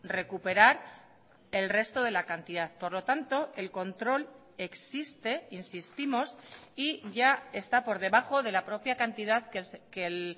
recuperar el resto de la cantidad por lo tanto el control existe insistimos y ya está por debajo de la propia cantidad que el